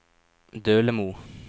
Dølemo